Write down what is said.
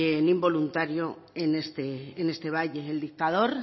ni involuntario en este valle el dictador